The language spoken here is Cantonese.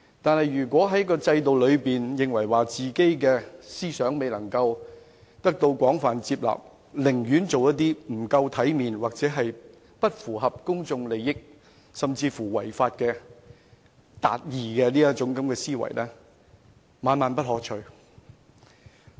可是，如果在制度中，由於認為自己的思想未能得到廣泛接納，寧可做一個不夠體面、不符合公眾利益的人，甚至有違法達義的思維，實在是萬萬不可取。